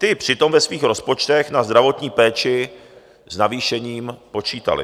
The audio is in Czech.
Ty přitom ve svých rozpočtech na zdravotní péči s navýšením počítaly.